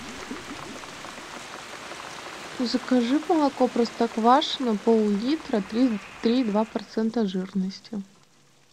закажи молоко простоквашино пол литра три и два процента жирности